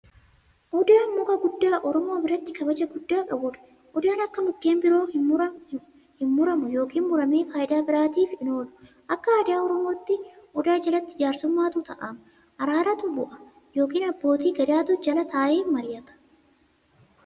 Odaan muka guddaa oromoo biratti kabaja guddaa qabuudha. Odaan akka mukkeen biroo hinmuramu yookiin muramee faayidaa biraaf hin oolu. Akka aadaa oromootti, odaa jalatti jaarsummaatu taa'ama, araaratu bu'a yookiin abbootii gadaatu jala taa'e mari'ata.